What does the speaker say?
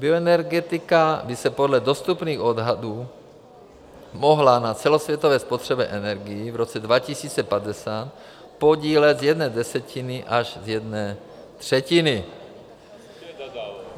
Bioenergetika by se podle dostupných odhadů mohla na celosvětové spotřebě energií v roce 2050 podílet z jedné desetiny až z jedné třetiny.